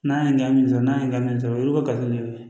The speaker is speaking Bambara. N'a ye ɲaŋa min sɔrɔ n'a ye n ka min sɔrɔ olu bɛ ka n'u ye